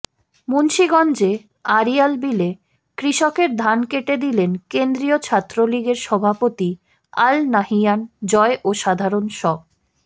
মুন্সীগঞ্জে আড়িয়ালবিলে কৃষকের ধান কেটে দিলেন কেন্দ্রীয় ছাত্রলীগের সভাপতি আল নাহিয়ান জয় ও সাধারণ স